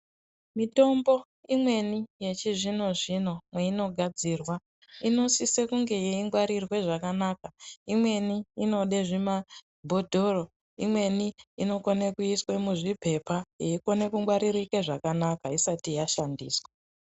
Mitombo imweni yechizvino zvino mweinogadzirwa inosise kunge yeingwarirwe zvakanaka imweni inode zvimabhodhori inweni inode kuiswe muzvipepa yeikone kungwaririka zvakanaka isati yashandiswa.